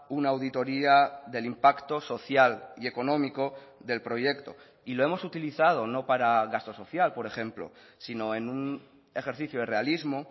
una auditoría del impacto social y económico del proyecto y lo hemos utilizado no para gasto social por ejemplo sino en un ejercicio de realismo